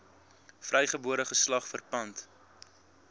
vrygebore geslag verpand